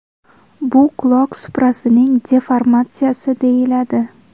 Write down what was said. Bu quloq suprasining deformatsiyasi deyiladi.